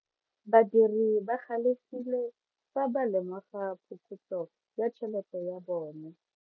Badiri ba galefile fa ba lemoga phokotso ya tšhelete ya bone.